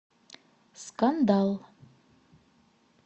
скандал